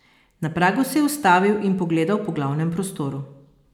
Na pragu se je ustavil in pogledal po glavnem prostoru.